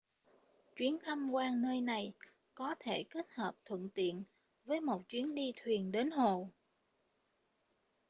chuyến tham quan nơi này có thể kết hợp thuận tiện với một chuyến đi thuyền đến hồ